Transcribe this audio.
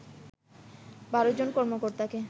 ১২ জন কর্মকর্তাকে